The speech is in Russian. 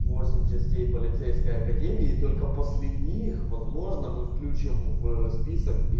восемь частей полицейской академии и только после них возможно мы включим в список и